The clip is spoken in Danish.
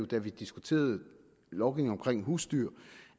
da vi diskuterede lovgivningen omkring husdyr